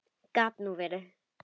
Gat nú verið!